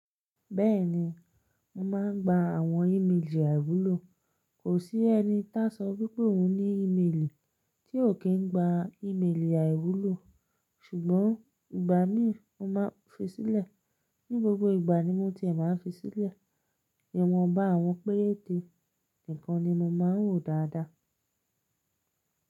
Bẹ́ẹ̀ni, mo máa ń gba àwọn ìmelì àìwúlò. Kò sí ẹni ta sọ wípé òun ní ìmelì tí ò kín gba ìmelì àìwúlò. Ṣùgbọ́n ìgbà mí mo máa fi sílẹ̀, ní gbogbo ìgbà ni mo ti è máa fi sílẹ̀. Ìwọn bá àwọn péréte nìkan ni mo máa ń wò dáadáa.